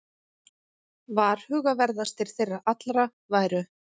Varhugaverðastir þeirra allra væru